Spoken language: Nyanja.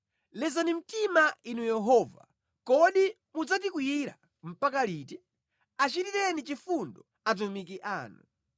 Lezani mtima Inu Yehova! Kodi mudzatikwiyira mpaka liti? Achitireni chifundo atumiki anu.